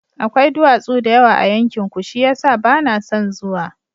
Akwai duwatsu da yawa a yankinku, shi ya sa ba na son zuwa.